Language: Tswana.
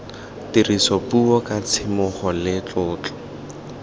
tirisopuo ka tshisimogo le tlotlo